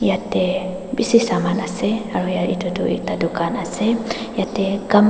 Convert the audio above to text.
etey bishi saman ase aro etu ekta dukan ase etey kam.